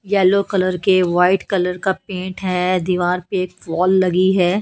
Yellow colour के white colour का paint है दीवार पे वॉल लगी है।